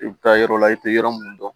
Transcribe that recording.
I bɛ taa yɔrɔ la i tɛ yɔrɔ minnu dɔn